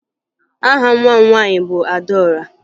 Aha nwa m nwaanyị bụ Adaọra